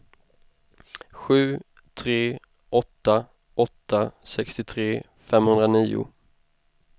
sju tre åtta åtta sextiotre femhundranio